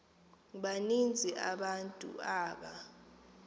baninzi abantu aba